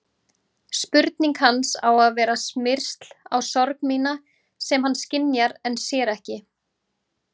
Spurning hans á að vera smyrsl á sorg mína sem hann skynjar en sér ekki.